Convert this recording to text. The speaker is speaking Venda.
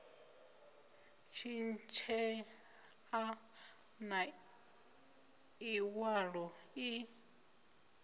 tshintshea na iwalo ii i